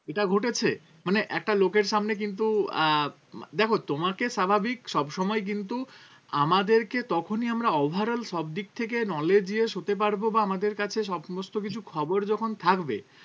এটা ঘটেছে মানে একটা লোকের সামনে কিন্তু আহ দেখো তোমাকে স্বাভাবিক সবসময় কিন্তু আমাদেরকে তখনই আমরা overall সব দিক থেকে knowledge হতে পারবো বা আমাদের কাছে সমস্ত কিছু খবর যখন থাকবে